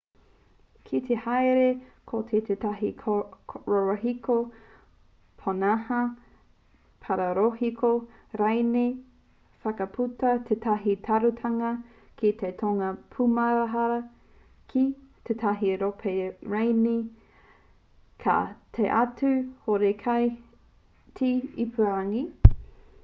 ki te hāereere koe ki tētahi rorohiko pōnaha paparorohiko rānei whakaputua tētahi tāruatanga ki tōna pūmahara ki tētahi kōpae rānei ka taea atu horekau te ipurangi